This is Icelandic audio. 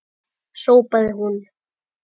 hrópaði hún.